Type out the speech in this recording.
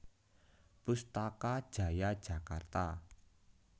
Pustaka Jaya Jakarta